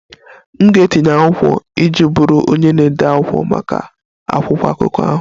M ga-etinye akwụkwọ iji bụrụ onye na-ede akwụkwọ maka akwụkwọ akụkọ ahụ